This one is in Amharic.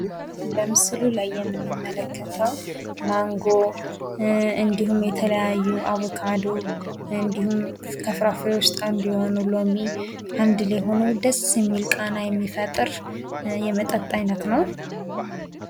በምስሉ ላይ የምንመለከተው ማንጎ እንዲሁም የተለያዩ አቦካዶ እንዲሁም ከፍራፍሬዎች ውስጥ አንድ የሆነው ሎሚ አንድ ላይ ሁነው ደስ የሚል ቃና የሚፈጥር የመጠጥ አይነት ነው ።